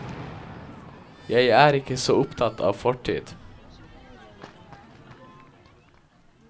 Jeg er ikke så opptatt av fortid.